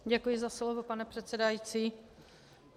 Děkuji za slovo, pane předsedající.